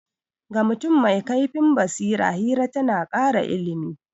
Ga mutum mai kaifin basira, hira ta na kara ilimi.